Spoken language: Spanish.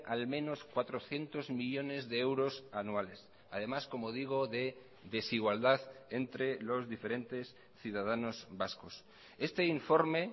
al menos cuatrocientos millónes de euros anuales además como digo de desigualdad entre los diferentes ciudadanos vascos este informe